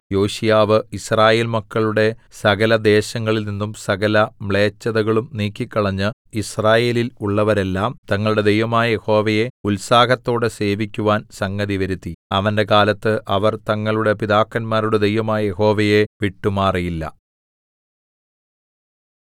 യോശീയാവ് യിസ്രായേൽ മക്കളുടെ സകലദേശങ്ങളിൽനിന്നും സകലമ്ലേച്ഛതകളും നീക്കിക്കളഞ്ഞ് യിസ്രായേലിൽ ഉള്ളവരെല്ലാം തങ്ങളുടെ ദൈവമായ യഹോവയെ ഉത്സാഹത്തോടെ സേവിക്കുവാൻ സംഗതിവരുത്തി അവന്റെ കാലത്ത് അവർ തങ്ങളുടെ പിതാക്കന്മാരുടെ ദൈവമായ യഹോവയെ വിട്ടുമാറിയില്ല